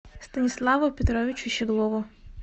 станиславу петровичу щеглову